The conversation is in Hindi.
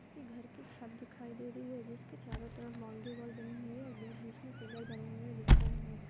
एक घर की छत दीखाई दे रही है। जिसके चारों तरफ बौंड़री वाल बनी हुई है और बीच - बीच मे पिलर बने हुए दिख रहे हैं।